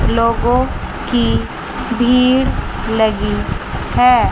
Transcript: लोगों की भीड़ लगी है।